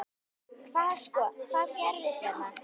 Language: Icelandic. Hvað sko, hvað gerist hérna?